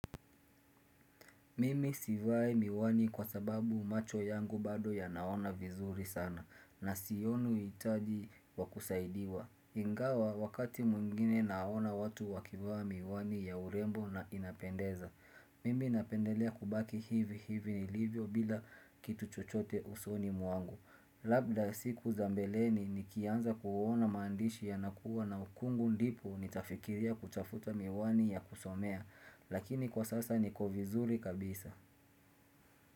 Mimi sivai miwani kwa sababu macho yangu bado yanaona vizuri sana na sioni uitaji wa kusaidiwa Ingawa wakati mwengine naona watu wakivaa miwani ya urembo na inapendeza Mimi napendelea kubaki hivi hivi nilivyo bila kitu chochote usoni mwangu Labda siku za mbeleni nikianza kuona maandishi yanakuwa na ukungu ndipo nitafikiria kutafuta miwani ya kusomea Lakini kwa sasa niko vizuri kabisa.